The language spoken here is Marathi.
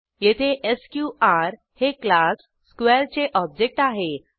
येथे एसक्यूआर हे क्लास स्क्वेअर चे ऑब्जेक्ट आहे